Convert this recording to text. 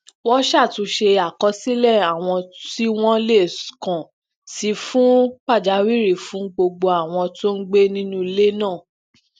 wón ṣàtúnṣe àkọsílè àwọn tí wón lè kàn sí fún pàjáwìrì fún gbogbo àwọn tó ń gbé nínú ilé náà